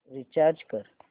recharge कर